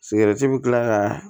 Sigɛrɛti bi kila ka